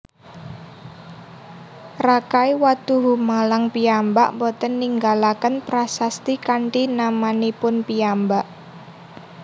Rakai Watuhumalang piyambak boten ninggalaken prasasti kanthi namanipun piyambak